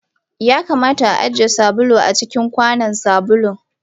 Ya kamata a ajiye sabulu a cikin kwanon sabulun.